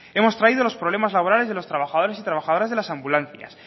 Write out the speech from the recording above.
hemos traído los problemas laborales de los trabajadores y trabajadoras de las ambulancias